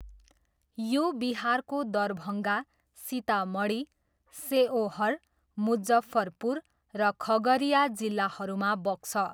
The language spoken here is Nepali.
यो बिहारको दरभङ्गा, सितामढी, सेओहर, मुजफ्फरपुर र खगरिया जिल्लाहरूमा बग्छ।